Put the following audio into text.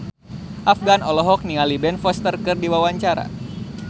Afgan olohok ningali Ben Foster keur diwawancara